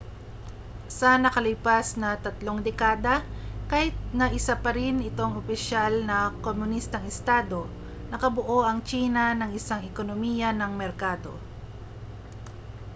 sa nakalipas na tatlong dekada kahit na isa pa rin itong opisyal na komunistang estado nakabuo ang tsina ng isang ekonomiya ng merkado